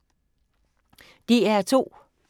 DR2